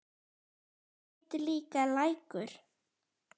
Þar heitir líka Lækur.